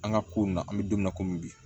An ka ko in na an bɛ don min na komi bi